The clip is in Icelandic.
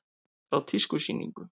Frá tískusýningu.